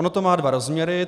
Ono to má dva rozměry.